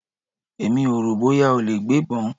Èmi ò rò bóyá ó lè gbébọn.